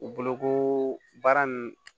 U bolo ko baara nunnu